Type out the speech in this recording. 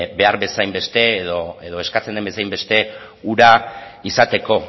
behar bezain beste edo eskatzen den bezain beste ura izateko